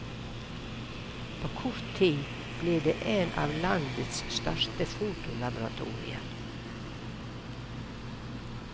På kort tid ble det en av landets største fotolaboratorier.